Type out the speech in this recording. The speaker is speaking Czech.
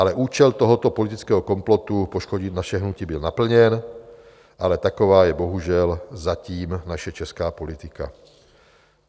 Ale účel tohoto politického komplotu poškodit naše hnutí byl naplněn, ale taková je bohužel zatím naše česká politika.